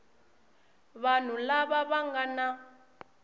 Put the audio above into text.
vanhu lava va nga na